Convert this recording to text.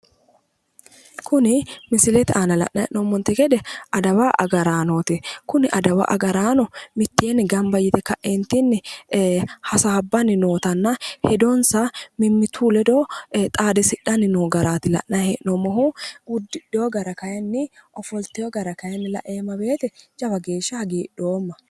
Kuni misilete aana la'nayi hee'noommonte gede adawa agaraanooti. Kuni adawa agaraano mitteenni gamba yite ka'eentinni hasaabbanni nootanna hedonsa mimmituyi ledo xaadisidhanni noo garaati la'nayi hee'noommohu. Uddidheyo gara kayinni ofolteyo gara kayinni laeemma woyite jawa geeshsha hagiidhoomma.